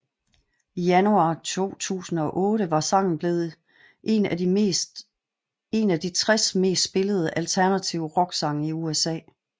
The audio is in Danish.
I januar 2008 var sangen blevet en af de 60 mest spillede alternative rocksange i USA